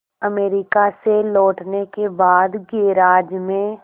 America से लौटने के बाद गैराज में